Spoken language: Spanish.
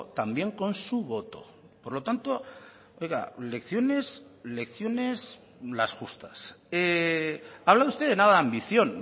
también con su voto por lo tanto oiga lecciones lecciones las justas habla usted de nada ambición